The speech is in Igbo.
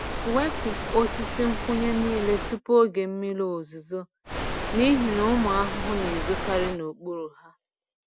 Wepu osisi nkwụnye niile tupu oge mmiri ozuzo n’ihi na ụmụ ahụhụ na-ezokarị n’okpuru ha.